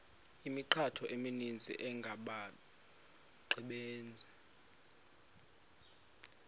imithqtho emininzi engabaqbenzi